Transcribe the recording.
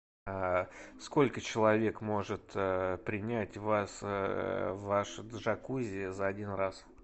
сколько человек может принять ваш джакузи за один раз